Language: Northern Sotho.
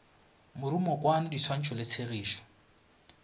morumokwano di swantšho le tshegišo